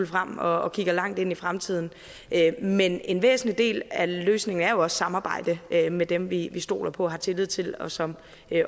frem og kigger langt ind i fremtiden men en væsentlig del af løsningen er jo også samarbejde med med dem vi stoler på og har tillid til og som